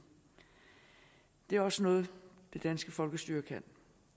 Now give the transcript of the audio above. det er også noget det danske folkestyre kan